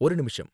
ஒரு நிமிஷம்.